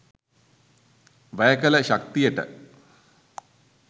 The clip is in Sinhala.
වැය කළ ශක්තියට